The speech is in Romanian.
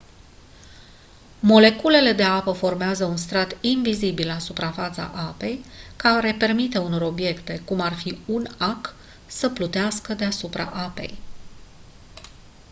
moleculele de apă formează un strat invizibil la suprafața apei care permite unor obiecte cum ar fi un ac să plutească deasupra apei